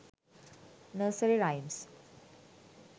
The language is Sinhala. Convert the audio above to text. nursery rhymes